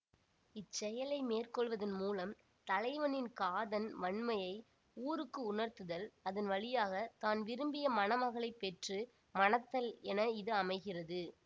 இச்செயலை மேற்கொள்வதன் மூலம் தலைவனின் காதன் வன்மையை ஊருக்கு உணர்த்துதல் அதன் வழியாக தான் விரும்பிய மணமகளைப் பெற்று மணத்தல் என இது அமைகிறது